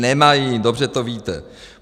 Nemají, dobře to víte.